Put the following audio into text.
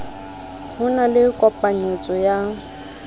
ho na le kopanyetso ya